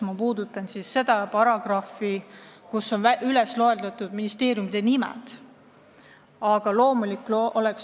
Ma mõtlen eelkõige paragrahvi, kus on üles loetud konkreetsed ministeeriumid.